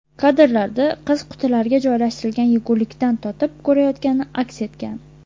Kadrlarda qiz qutilarga joylashtirilgan yegulikdan totib ko‘rayotgani aks etgan.